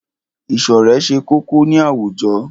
Ìṣọ̀rẹ́ ṣe kókó ní àwùjọ.